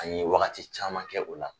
An ye wagati caman kɛ o la.